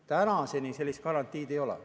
Tänaseni sellist garantiid ei ole.